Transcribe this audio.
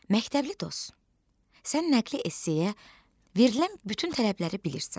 Məktəbli dost, sən nəqli essiyə verilən bütün tələbləri bilirsən.